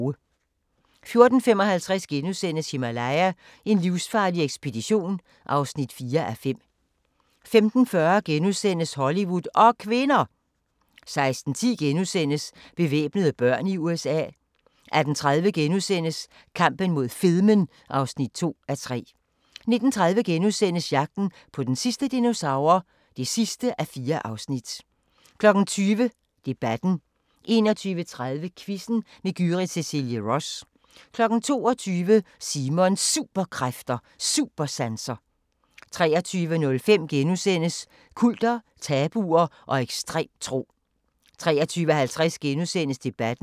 14:55: Himalaya: En livsfarlig ekspedition (4:5)* 15:40: Hollywood og kvinder! * 16:10: Bevæbnede børn i USA * 18:30: Kampen mod fedmen (2:3)* 19:30: Jagten på den sidste dinosaur (4:4)* 20:00: Debatten 21:30: Quizzen med Gyrith Cecilie Ross 22:00: Simons Superkræfter: Supersanser 23:05: Kulter, tabuer og ekstrem tro * 23:50: Debatten *